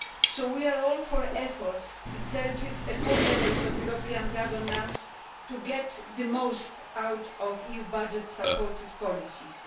So we are all for efforts exerted at all levels of European governance to get the most out of EU budget supported policies.